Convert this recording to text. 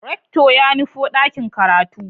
Rector ya nufo dakin karatu.